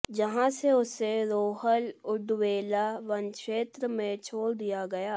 जहां से उसे रोहल उंडवेला वनक्षेत्र में छोड़ दिया गया